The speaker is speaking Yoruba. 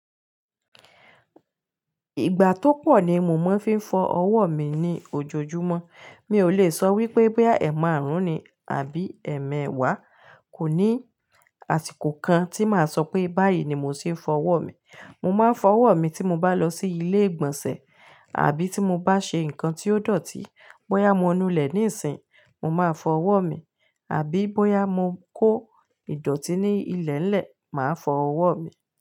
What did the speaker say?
Ìgbà tó pọ̀ ni mo máa ń fi fọ ọwọ́ mi ní ojoojúmọ́. Mi ò lè sọ wípé bóyá ẹ̀ márùn-ún ni àbí ẹ̀ mẹ́wàá. Kò ní àsìkò kan tí màá sọ pé báyìí ni mò hún ṣe fọ ọwọ́ mi. Mo máa ń fọ ọwọ́ mi tí mo bá lọ sí ilé ìgbọ̀nsẹ̀ àbí tí mo bá ṣe nǹkan tí ó dọ̀tí. Bóyá mo nu ilẹ̀ níìsín, mo máa fọ ọwọ́ mi, àbí bóyá mo kó ìdọ̀tí ní ilẹ̀lẹ̀, màá fọ ọwọ́ mi.